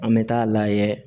An bɛ taa lajɛ